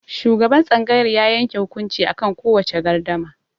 Shugaban tsangayar ya yanke hukunci akan kowace gardama.